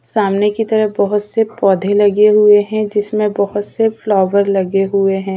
सामने की तरफ बहोत से पौधे लगे हुए हैं जिनमें बहोत से फ्लावर लगे हुए हैं।